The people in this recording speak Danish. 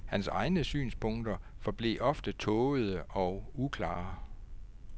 Hans egne synspunkter forblev ofte tågede og uklare.